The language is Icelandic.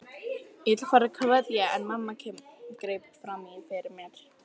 Ég ætlaði að fara að kveðja en mamma greip fram í fyrir mér.